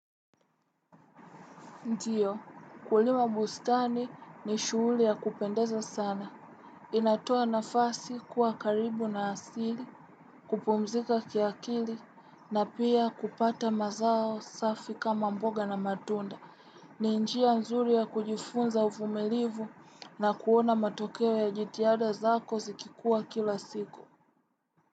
Ndio, kulima bustani ni shughuli ya kupendeza sana. Inatoa nafasi kuwa karibu na asili, kupumzika kiakili, na pia kupata mazao safi kama mboga na matunda. Ni njia nzuri ya kujifunza uvumilivu na kuona matokeo ya jitihada zako zikikua kila siku.